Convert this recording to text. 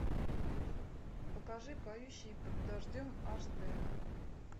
покажи поющие под дождем аш д